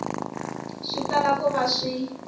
swi tala ku va swi